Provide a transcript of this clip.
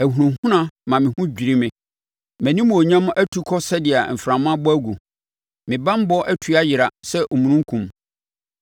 Ahunahuna ma me ho dwiri me; mʼanimuonyam atu kɔ sɛdeɛ mframa abɔ agu, me banbɔ atu ayera sɛ omununkum.